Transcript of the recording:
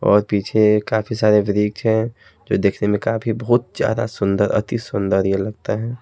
और पीछे काफी सारे वृक्ष हैंजो देखने में काफी बहुत ज्यादा सुंदर अति सुंदर ये लगता है।